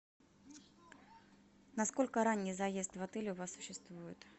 насколько ранний заезд в отель у вас существует